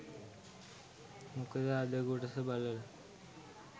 මොකද අද කොටස බලලා